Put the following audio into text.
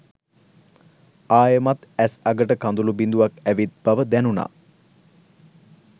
ආයෙමත් ඇස් අගට කඳුළු බිංදුවක් ඇවිත් බව දැනුණා.